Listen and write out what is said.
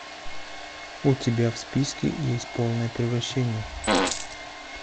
у тебя в списке есть полное превращение